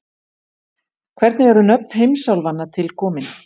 hvernig eru nöfn heimsálfanna til komin